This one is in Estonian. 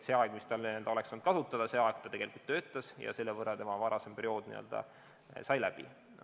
See aeg, mis tal oleks veel olnud kasutada, ta tegelikult töötas ja selle võrra tema varasem periood n-ö sai läbi.